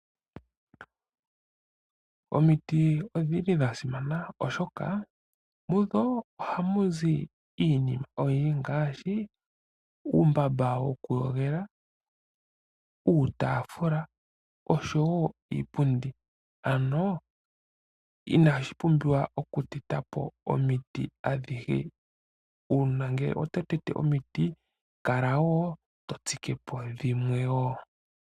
Omiiti odhili dhasimana oshoka kudho ohamu zi iinima oyindji ngaashi uumbamba woku yogela, uutafula oshowo iipundi. Ano inashi pumbiwa oku tetapo omiiti adhihe. Una ngele oto tetepo omiiti kala wo to tsikepo dhimwe.